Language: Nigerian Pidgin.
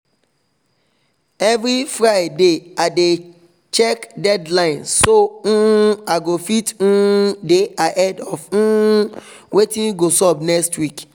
every friday i dey cheak deadline so um i go fit um dey ahead of um watin go sup next week